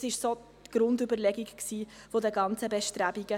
Das war die Grundüberlegung der ganzen Bestrebungen.